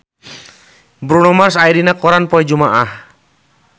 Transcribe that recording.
Bruno Mars aya dina koran poe Jumaah